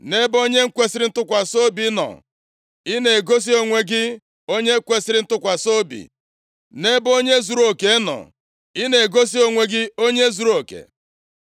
“Nʼebe onye kwesiri ntụkwasị obi nọ, i na-egosi onwe gị onye kwesiri ntụkwasị obi, nʼebe onye zuruoke nọ, ị na-egosi onwe gị onye zuruoke.